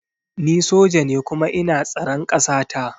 Ni soja ne kuma ina tsaran kasata